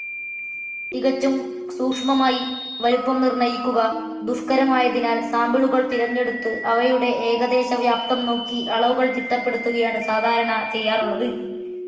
തികച്ചും സൂക്ഷ്മമായി വലുപ്പം നിർണയിക്കുക ദുഷ്കരമായതിനാൽ സാമ്പിളുകൾ തിരഞ്ഞെടുത്തു അവയുടെ ഏകദേശവ്യാപ്തം നോക്കി അളവുകൾ തിട്ടപ്പെടുത്തുകയാണ് സാധാരണ ചെയ്യാറുള്ളത്.